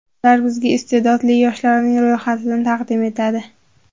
Ular bizga iste’dodli yoshlarning ro‘yxatini taqdim etadi.